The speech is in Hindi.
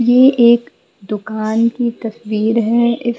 ये एक दुकान की तस्वीर है इस--